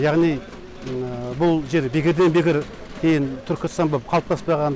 яғни бұл жер бекерден бекер түркістан болып қалыптаспаған